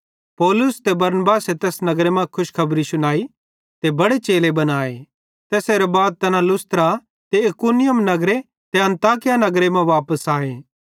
पौलुस ते बरनबासे तैस नगर मां खुशखबरी शुनाई ते बड़े चेले बनाए ते तैसेरां बाद तैना लुस्त्रा ते इकुनियुम नगरे ते अन्ताकिया नगरे मां वापस आए